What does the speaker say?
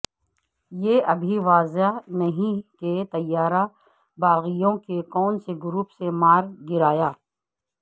یہ ابھی واضح نہیں کہ طیارہ باغیوں کے کونسے گروپ نے مار گرایا